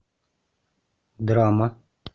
драма